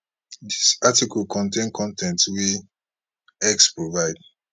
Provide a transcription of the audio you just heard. dis article contain con ten t wey x provide